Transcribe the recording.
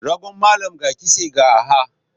Ragon malam ga kitse ga arha.